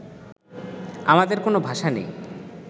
আমাদের কোনো ভাষা নেই